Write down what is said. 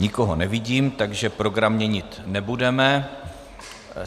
Nikoho nevidím, takže program měnit nebudeme.